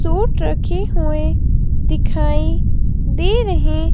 suit रखे हुएं दिखाई दे रहें--